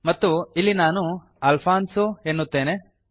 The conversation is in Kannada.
ಮತ್ತು ಇಲ್ಲಿ ನಾನು ಅಲ್ಫಾನ್ಸೊ ಎನ್ನುತ್ತೇನೆ